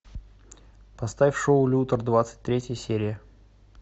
поставь шоу лютер двадцать третья серия